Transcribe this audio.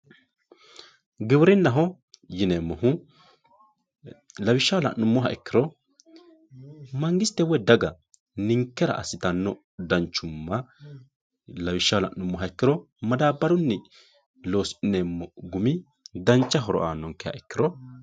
giwirinnaho yineemohu lawishshaho la'nummoha ikkiro mangiste woyi daga ninkera assitaanno danchumma lawishshaho la'nummoha ikkiro madabarun losi'neemo gumi danch horo aanonkeha ikkiro.